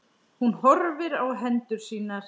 Hún horfir á hendur sínar.